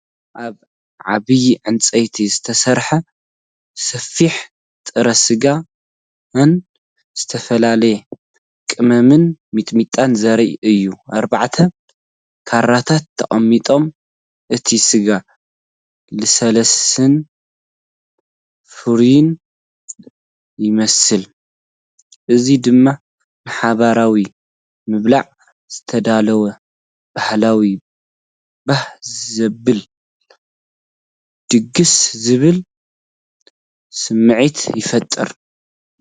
ኣብ ዓቢይ ዕንጨይቲ ዝተሰርሐ ሰፍኢ ጥረ ስጋን ዝተፈላለየ ቀመምን ሚጥሚጣን ዘርኢ እዩ። ኣርባዕተ ካራታት ተቐሚጦም። እቲ ስጋ ልስሉስን ፍሩይን ይመስል። እዚ ድማ ንሓባራዊ ምብላዕ ዝተዳለወ ባህላውን ባህ ዘብልን ድግስ ዝብል ስምዒት ይፈጥር።